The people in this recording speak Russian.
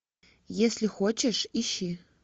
если хочешь ищи